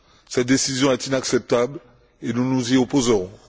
Cette décision est inacceptable et nous nous y opposerons.